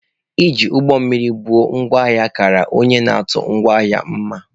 Iji ụgbọ mmiri bu ngwa ahịa kara onye na-atụ ngwa ahịa mma.